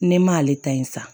Ne ma ale ta in san